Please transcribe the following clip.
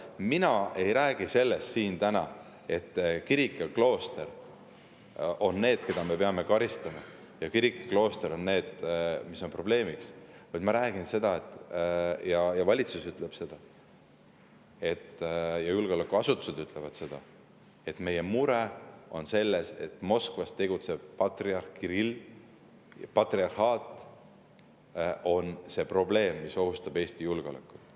Mina ei räägi siin täna sellest, et kirik ja klooster on need, keda me peame karistama, ja et kirik ja klooster on see probleem, vaid ma räägin sellest, ja ka valitsus ütleb seda ja julgeolekuasutused ütlevad seda, et meie mure on selles, et Moskvas tegutsev patriarh Kirill ja patriarhaat on see probleem, mis ohustab Eesti julgeolekut.